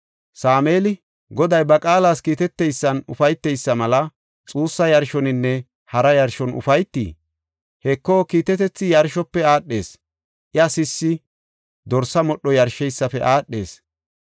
Sameeli, “Goday ba qaalas kiiteteysan ufayteysa mela xuussa yarshoninne hara yarshon ufaytii? Heko, kiitetethi yarshofe aadhees; iya sissi dorsa modho yarsheysafe aadhees.